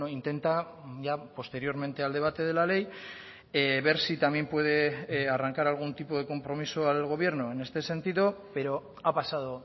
intenta ya posteriormente al debate de la ley ver si también puede arrancar algún tipo de compromiso al gobierno en este sentido pero ha pasado